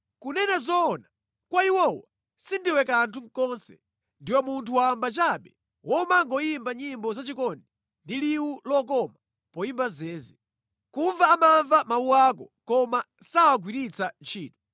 Kunena zoona, kwa iwowo sindiwe kanthu konse, ndiwe munthu wamba chabe womangoyimba nyimbo zachikondi ndi liwu lokoma poyimba zeze. Kumva amamva mawu ako koma sawagwiritsa ntchito.